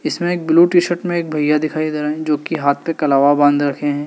इसमें एक blue T shirt में एक भैया दिखाई दे रहे हैं जो कि हाथ पे कलावा बांध रखे हैं।